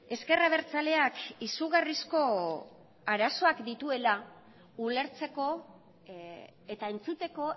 ezker abertzaleak izugarrizko arazoak dituela ulertzeko eta entzuteko